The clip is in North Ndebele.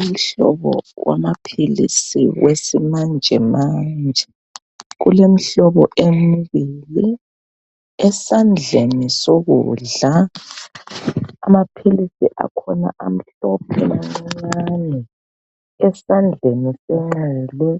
Umhlobo wamaphilisi wesimanjemanje kulemihlobo emibili esandleni sokudla amaphilisi akhona amhlophe mancane esandleni senxele